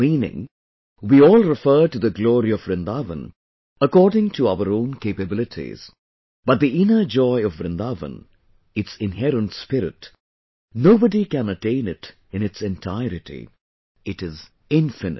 Meaning, We all refer to the glory of Vrindavan, according to our own capabilities...but the inner joy of Vrindavan, its inherent spirit...nobody can attain it in its entirety...it is infinite